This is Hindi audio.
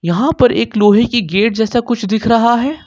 वहां पर एक लोहे की गेट जैसा कुछ दिख रहा है ।